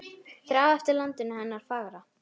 Þrá eftir landinu hennar fagra.